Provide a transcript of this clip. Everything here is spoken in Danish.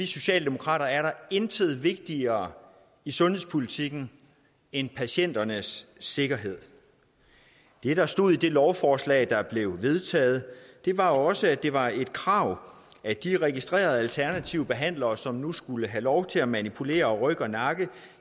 socialdemokrater er der intet vigtigere i sundhedspolitikken end patienternes sikkerhed det der stod i det lovforslag der blev vedtaget var også at det var et krav at de registrerede alternative behandlere som nu skulle have lov til at manipulere ryg og nakke